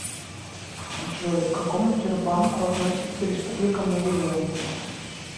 джой к какому тербанку относится республика марий эл